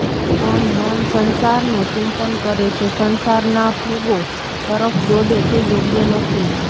પણ મન સંસારનું ચિંતન કરે છે સંસારના ભોગો તરફ દોડે તે યોગ્ય નથી